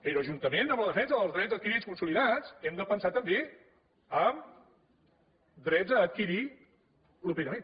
però juntament amb la defensa dels drets adquirits i consolidats hem de pensar també en drets a adquirir properament